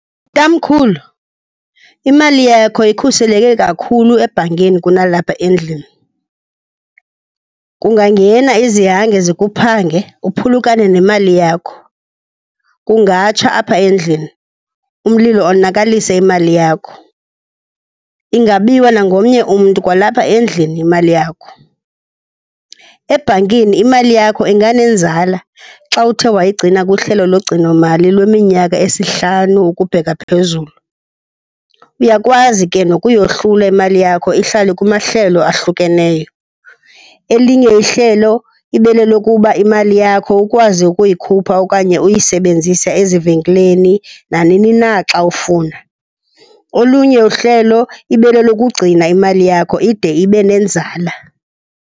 Tamkhulu, imali yakho ikhuseleke kakhulu ebhankini kunalapha endlini. Kungangena izihange zikuphange uphulukane nemali yakho, kungatsha apha endlini umlilo onakalise imali yakho, ingabiwa nangomnye umntu kwalapha endlini imali yakho. Ebhankini imali yakho inganenzala xa uthe wayigcina kuhlelo logcinomali lweminyaka esihlanu ukubheka phezulu. Uyakwazi ke nokuyohlula imali yakho ihlale kumahlelo ahlukeneyo. Elinye ihlelo ibe lelokuba imali yakho ukwazi ukuyikhupha okanye uyisebenzise ezivenkileni nanini na xa ufuna. Olunye uhlelo ibe lelokugcina imali yakho ide ibe nenzala.